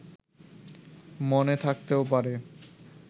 মনে থাকতেও পারে